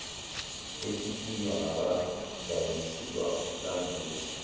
etitinywa ngabadayisi lambuza